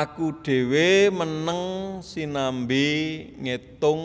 Aku dhéwé meneng sinambi ngétung